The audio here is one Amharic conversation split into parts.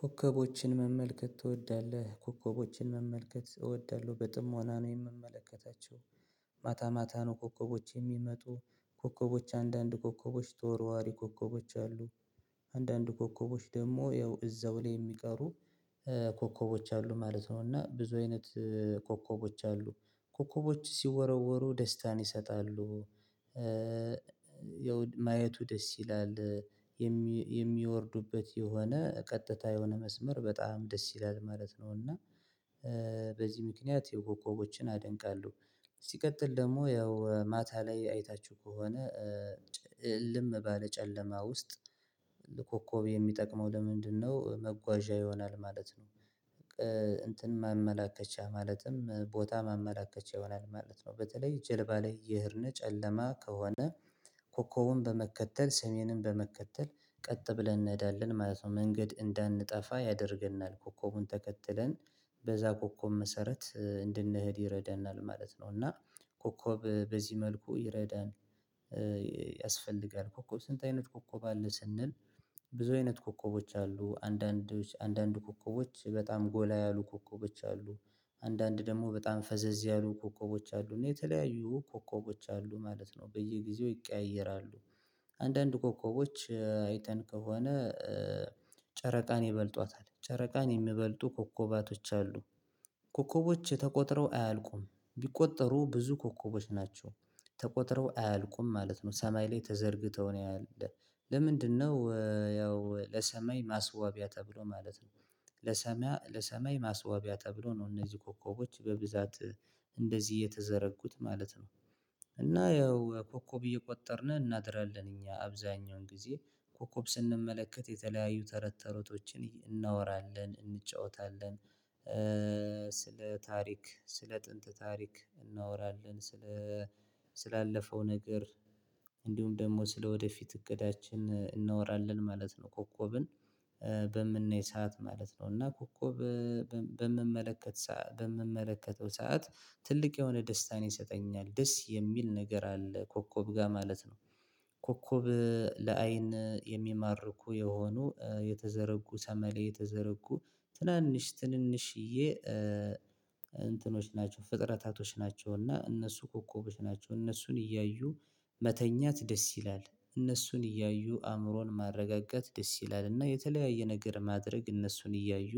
ኮከቦችን መመልከት ትወዳለህ? ኮከቦችን መመልከት እወዳለሁ በጥሞና ነው የምመለከታቸው። ማታ ማታ ነው ኮከቦች የሚመጡ ኮከቦች አንዳንድ ኮከቦች ተወርዋሪ ኮከቦች አሉ። አንዳንድ ኮከቦች ደግሞ ያው እዛው ላይ የሚቀሩ። ኮከቦች አሉ ማለት ነው። እና ብዙ አይነት ኮከቦች አሉ። ኮከቦች ሲወረወሩ ደስታን ይሰጣሉ። ያው ማየቱ ደስ ይላል። የሚወርዱበት የሆነ ቀጥታ የሆነ መስመር በጣም ደስ ይላል ማለት ነው። እና በዚህ ምክንያት ያው ኮከቦችን አደንቃለሁ። ሲቀጥል ደግሞ ያው ማታ ላይ አይታችሁ ከሆነ። እልም ባለ ጨለማ ውስጥ። ለኮኮብ የሚጠቅመው ለምንድነው? መጓዣ ይሆናል ማለት ነው። እንትን ማመላከቻ ማለትም ቦታ ማመላከቻ ይሆናል ማለት ነው። በተለይ ጀልባ ላይ የሄድነ ጨለማ ከሆነ። ኮኮቡን በመከተል ሰሜንን በመከተል ቀጥ ብለን እንሄዳለን ማለት ነው። መንገድ እንዳንጠፋ ያደርገናል ኮከቡን ተከትለን በዛ ኮከብ መሰረት እንድንሄድ ይረዳናል ማለት ነው። እና ኮኮብ በዚህ መልኩ ይረዳል። ያስፈልጋል ኮኮብ ስንት? አይነት ኮኮብ አለ ስንል። ብዙ አይነት ኮከቦች አሉ አንዳንዶች አንዳንድ ኮከቦች በጣም ጎላ ያሉ ኮከቦች አሉ። አንዳንድ ደግሞ በጣም ፈዘዝ ያሉ ኮከቦች አሉ እና የተለያዩ ኮከቦች አሉ ማለት ነው በየጊዜው ይቀያየራሉ። አንዳንድ ኮከቦች አይተን ከሆነ። ጨረቃን ይበልጧታል ጨረቃን የሚበልጡ ኮከባቶች አሉ። ኮከቦች የተቆጥረው አያልቁም ቢቆጠሩ ብዙ ኮከቦች ናቸው። ተቆጥረው አያልቁም ማለት ነው ሰማይ ላይ ተዘርግተው ነው ያለው። ለምንድነው? ያው ለሰማይ ማስዋቢያ ተብሎ ማለት ነው። ለሰማይ ለሰማይ ማስዋቢያ ተብሎ ነው እነዚህ ኮከቦች በብዛት እንደዚህ የተዘረጉት ማለት ነው። እና ያው ኮከብ እየቆጠርን እናድራለን እኛ አብዛኛውን ጊዜ ኮከብ ስንመለከት የተለያዩ ተረት ተረቶችን እናወራለን እንጫወታለን። ስለ ታሪክ ስለ ጥንት ታሪክ እናወራለን ስለ ስላለፈው ነገር እንዲሁም ደግሞ ስለወደፊት እቅዳችን እናወራለን ማለት ነው። ኮኮብን በምናይ ሰዓት ማለት ነው እና ኮኮብ በምመለከት በምመለከተው ሰዓት ትልቅ የሆነ ደስታን ይሰጠኛል ደስ የሚል ነገር አለ ኮከብ ጋር ማለት ነው። ኮከብ ለአይን የሚማርኩ የሆኑ የተዘረጉ ሰማይ ላይ የተዘረጉ ትናንሽ ትንንሽዬ እንትኖች ናቸው። ፍጥረታቶች ናቸውና እነሱ ኮከቦች ናቸው እነሱን እያዩ። መተኛት ደስ ይላል እነሱን እያዩ አእምሮን ማረጋገት ደስ ይላል እና የተለያየ ነገር ማድረግ እነሱን እያዩ።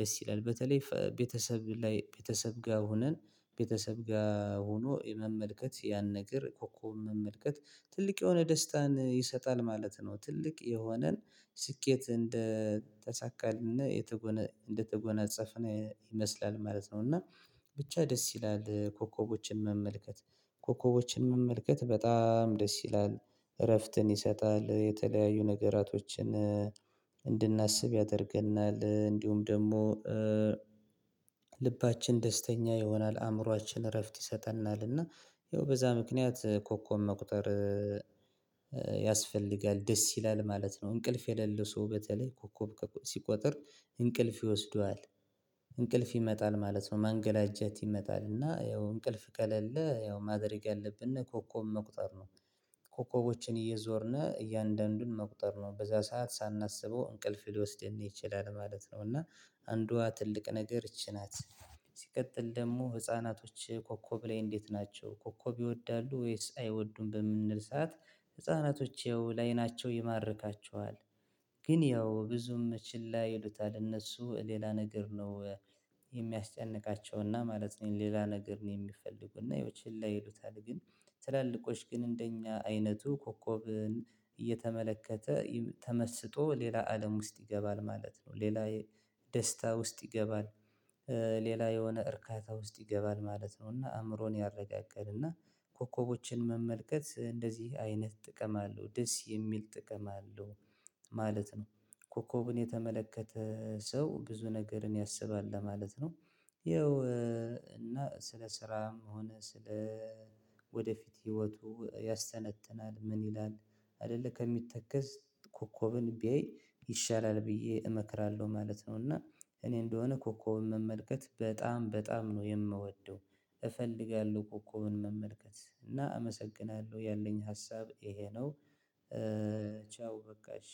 ደስ ይላል በተለይ ቤተሰብ ላይ ቤተሰብ ጋር ሆነን ቤተሰብ ጋር ሆኖ የመመልከት ያን ነገር ኮኮብ መመልከት ትልቅ የሆነ ደስታን ይሰጣል ማለት ነው። ትልቅ የሆነን ስኬት እንደተሳካልን እንደተጎናጸፍን ይመስላል ማለት ነው። እና ብቻ ደስ ይላል ኮከቦችን መመልከት ኮከቦችን መመልከት በጣም ደስ ይላል። እረፍትን ይሰጣል የተለያዩ ነገራቶችን። እንድናስብ ያደርገናል እንዲሁም ደግሞ ልባችን ደስተኛ ይሆናል አእምሮአችን እረፍት ይሰጠናል። እና ይኸው በዛ ምክንያት ኮኮብ መቁጠር ያስፈልጋል ደስ ይላል ማለት ነው። እንቅልፍ የሌለው ሰው በተለይ ኮኮብ ሲቆጥር እንቅልፍ ይወስደዋል። እንቅልፍ ይመጣል ማለት ነው ማንገላጀት ይመጣልና ያው እንቅልፍ ቀለለ ያው ማድረግ ያለብን እና ኮከብ መቁጠር ነው። ኮከቦችን እየዞርነ እያንዳንዱን መቁጠር ነው በዛ ሰዓት ሳናስበው እንቅልፍ ሊወስድን ይችላል ማለት ነው። እና አንዷ ትልቅ ነገር ይቺ ናት። ሲቀጥል ደግሞ ህፃናቶች ኮከብ ላይ እንዴት? ናቸው ኮከብ ይወዳሉ ወይስ አይወዱም በምንል ሰዓት። ህፃናቶች ያው ለአይናቸው ይማርካቸዋል። ግን ያው ብዙም ችላ ይሉታል እነሱ ሌላ ነገር ነው። የሚያስጨንቃቸውና ማለት ነው። ሌላ ነገር ነው የሚፈልጉና ይሄው ችላ ይሉታል ግን ትላልቆች ግን እንደኛ አይነቱ ኮከብን እየተመለከተ ተመስጦ ሌላ አለም ውስጥ ይገባል ማለት ነው። ሌላ ደስታ ውስጥ ይገባል። ሌላ የሆነ እርካታ ውስጥ ይገባል ማለት ነው። እና አእምሮን ያረጋገልና ኮከቦችን መመልከት እንደዚህ አይነት ጥቅም አለው ደስ የሚል ጥቅም አለው። ማለት ነው። ኮከብን የተመለከተ ሰው ብዙ ነገርን ያስባል ለማለት ነው። ያው እና ስለ ስራም ሆነ ስለ ወደፊት ህይወቱ ያስተነትናል ምን ይላል? አይደለ ከሚተከዝ ኮከብን ቢያይ ይሻላል ብዬ እመክራለሁ ማለት ነው። እና እኔ እንደሆነ ኮከብ መመልከት በጣም በጣም ነው የምወደው እፈልጋለሁ ኮኮብን መመልከት እና አመሰግናለሁ ያለኝ ሀሳብ ይሄ ነው። ቻው በቃ እሽ።